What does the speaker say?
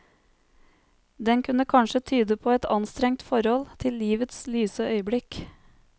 Den kunne kanskje tyde på et anstrengt forhold til livets lyse øyeblikk.